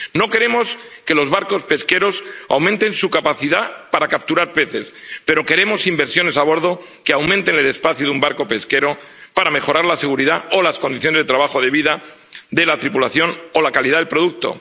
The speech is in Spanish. No queremos que los barcos pesqueros aumenten su capacidad para capturar peces, pero queremos inversiones a bordo que aumenten el espacio de un barco pesquero para mejorar la seguridad o las condiciones de trabajo de vida de la tripulación o la calidad del producto.